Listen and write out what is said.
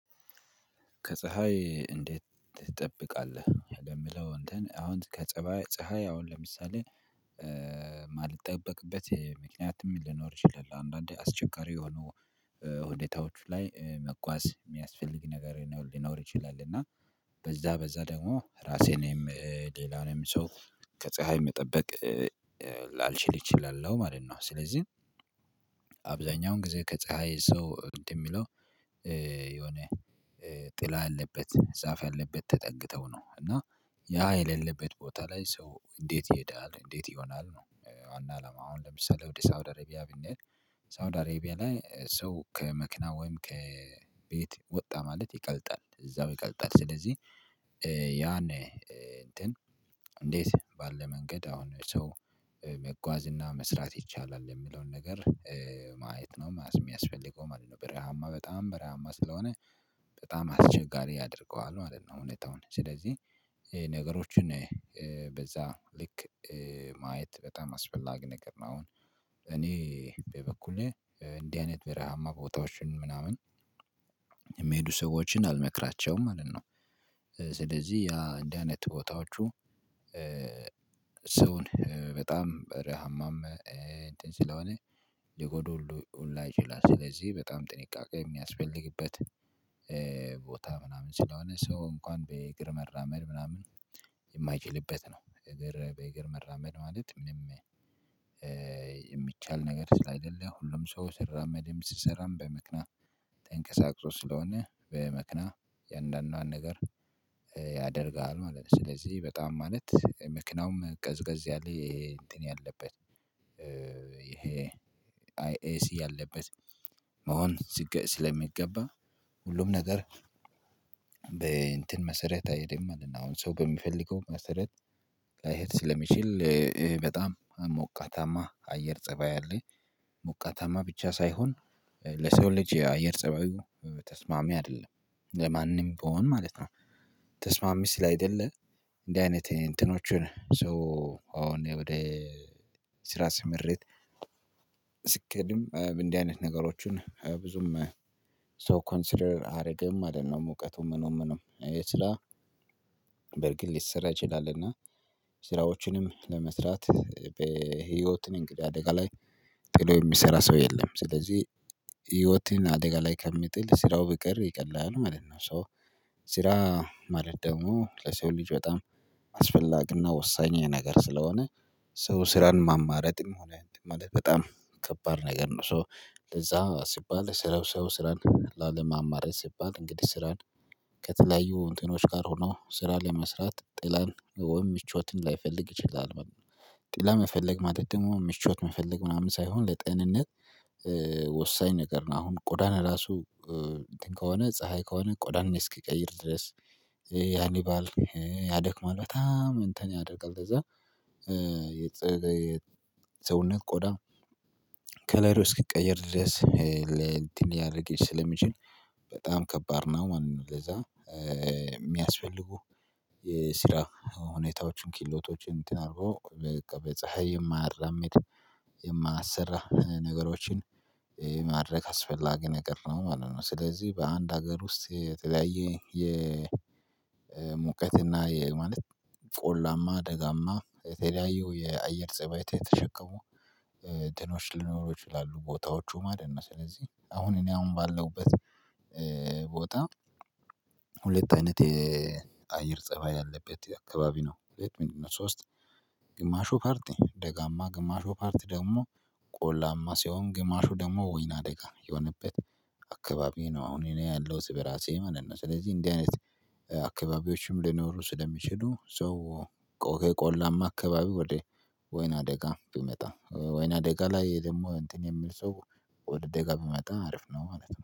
ከፀሀይ እንዴት ትጠብቃለህ? የሚለው እንትን አሁን ከፀባይ ፀሀይ አሁን ለምሳሌ ማልጠበቅበት ምክንያትም ሊኖር ይችላል አንድአንዴ። አስቸጋሪ የሆኑ ሁኔታዎች ላይ መጓዝ የሚያስፈልግ ነገር ሊኖር ይችላል። እና በዛ በዛ ደግሞ እራሴንም ሌላንም ሰው ከፀሀይ መጠበቅ ላልችል እችላለሁ ማለት ነው። ስለዚህ አብዛኛውን ጊዜ ከፀሀይ ሰው እንትንሚለው የሆነ ጥላ ያለበት ዛፍ ያለበት ተጠግተው ነው እና። ያ የሌለበት ቦታ ላይ ሰው እንዴት ይሄዳል? እንዴት ይሆናል? ነው ዋና አላማ አሁን ለምሳሌ ወደ ሳውዲ አረቢያ ብንሄድ ሳውዲ አረቢያ ላይ ሰው ከመኪና ወይም ከቤት ወጣ ማለት ይቀልጣል እዛው ይቀልጣል። ስለዚህ ያኔ እንትን እንዴት ባለ መንገድ አሁን ሰው መጓዝ እና መስራት ይቻላል የሚለውን ነገር ማየት ነው የሚያስፈልገው ማለት ነው። በረሃማ በጣም በረሃማ ስለሆነ በጣም አስቸጋሪ ያደርገዋል ማለት ነው ሁኔታው አሁን። ስለዚህ ነገሮችን በዛ ልክ ማየት በጣም አስፈላጊ ነገር ነው። አሁን እኔ በበኩሌ እንዲህ አይነት በረሃማ ቦታዎችን ምናምን የሚሄዱ ሰዎችን አልመክራቸውም ማለት ነው። ስለዚህ ያ እንዲህ አይነት ቦታዎቹ ሰውን በጣም በረሃማም እንትን ስለሆነ ሊጎዱ ሁሉ ይችላሉ። ስለዚህ በጣም ጥንቃቄ የሚያስፈልግበት ቦታ ምናምን ስለሆነ ሰው እንኳን በእግር መራመድ ምናምን የማይችልበት ነው። እግር በእግር መራመድ ማለት ምንም የሚቻል ነገር ስላይደለ ሁሉም ሰው ሲራመድም ሲሰራም በመኪና ተንቀሳቅሶ ስለሆነ በመኪና እያንድአንዷን ነገር ያደርጋሉ ማለት ነው። ስለዚህ በጣም ማለት መኪናውም ቀዝቀዝ ያለ እንትን ያለበት ይሄ አይኤሲ ያለበት መሆን ስለሚገባ ሁሉም ነገር በእንትን መሰረት አይሄድም ምንድነው ሰው በሚፈልገው መሰረት ላይሄድ ስለሚችል በጣም ሞቃታማ አየር ፀባይ አለ ሞቃታማ ብቻ ሳይሆን ለሰው ልጅ የአየር ፀባዩ ተስማሚ አይደለም። ለማንም ቢሆን ማለት ነው ተስማሚ ስላልደለ እንዲህ አይነት እንትኖችን ሰው አሁን ወደ ስራ ስምሪት ስኬድም እንዲህ አይነት ነገሮችን ብዙም ሰው ኮንሲደር አያደረግም ማለት ነው። ሙቀቱን ምኑ ምኑ የስራ በርግጥ ሊሰራ ይችላል። እና ስራዎችንም ለመስራት በህይወትን እንግዲህ አደጋ ላይ ጥሎ የሚሰራ ሰው የለም ስለዚህ ህይወትን አደጋ ላይ ከሚጥል ስራው ቢቀር ይቀላል ማለት ነው። 'ሶ' ስራ ማለት ደግሞ ለሰው ልጅ በጣም አስፈላጊና ወሳኝ ነገር ስለሆነ ሰው ስራን ማማረጥምሆነ እንትን ማለት በጣም ከባድ ነገር ነው። 'ሶ' ለዛ ሲባል ስራው ሰው ስራን ላለማማረጥ ሲባል እንግዲህ ስራን ከተለያዩ እንትኖች ጋር ሆኖ ስራ ለመስራት ጥላን ወይ ምቾትን ላይፈልግ ይችላል ማለት ነው። ጥላን መፈለግ ማለት ደግሞ ምቾት መፈለግ ምናምን ሳይሆን ለጤንነት ወሳኝ ነገር ነው። አሁን ቆዳን ራሱ እንትን ከሆነ ፀሀይ ከሆነ ቆዳን እስኪቀይር ድረስ ያልባል ያደክማል በጣም እንትን ያደርጋል። በዛ የሰውነት ቆዳ ከለሩው እስኪቀየር ድረስ ለእንትን ሊያደርግ ስለሚችል በጣም ከባድ ነው ማለት ነው። ለዛ የሚያስፈልጉ የስራ ሁኔታዎችን ክህሎቶችን እንትን አርገው በቃ በፀሀይ የማያራምድ የማያሰራ ነገሮችን የማድረግ አስፈላጊ ነገር ነው ማለት ነው። ስለዚህ በአንድ ሀገር ውስጥ የተለያየ የሙቀት እና የማለት ቆላማ ደጋማ የተለያዩ የአየር ፀባያት የተሸከሙ እንትኖች ሊኖሩ ይችላሉ ቦታዎቹ ማለት ነው። ስለዚህ አሁን እኔ አሁን ባለሁበት ቦታ ሁለት አይነት የአየር ፀባይ ያለበት አካባቢ ነው። ሁለት ምንድነው ሶስት ግማሹ ፓርት ደጋማ ግማሹ ፓርት ደግሞ ቆላማ ሲሆን ግማሹ ደግሞ ወይና ደጋ የሆነበት አካባቢ ነው አሁን እኔ ያለሁት በራሴ ማለት ነው። ስለዚህ እንደዚህ አይነት አካባቢዎችም ሊኖሩ ስለሚችሉ ሰው ቆላማ አካባቢ ወደ ወይና አደጋ ቢመጣ ወይና አደጋ ላይ ደግሞ እንትን የሚል ሰው ወደ ደጋ ቢመጣ አሪፍነው ማለት ነው።